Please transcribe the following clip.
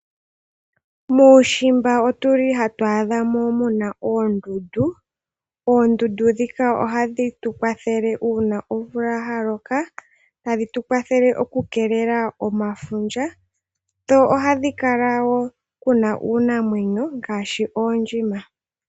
Muushimba ohamu adhika oondundu, oondundu ndhoka ohadhi tukwathele oku keelela efundja uuna omvula yaloka. Iinamwenyo yimwe ngaashi oondjima omo hayi adhika moka.